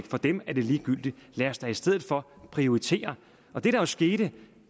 for dem er det ligegyldigt og lad os da i stedet for prioritere det der skete